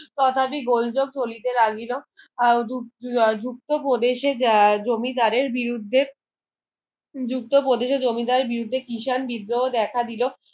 তথাটিক গোলোযোক চলিতে লাগিল আহ যুক্ত প্রদেশে যা জমিদারের বিরুদ্ধে যুক্ত প্রদেশে যা জমিদারের বিরুদ্ধে কৃষাণ বিদ্রোহ দেখা দিলো